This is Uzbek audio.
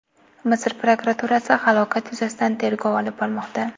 Misr prokuraturasi halokat yuzasidan tergov olib bormoqda.